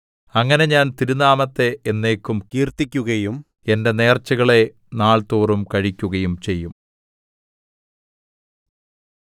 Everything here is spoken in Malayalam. അങ്ങനെ ഞാൻ തിരുനാമത്തെ എന്നേക്കും കീർത്തിക്കുകയും എന്റെ നേർച്ചകളെ നാൾതോറും കഴിക്കുകയും ചെയ്യും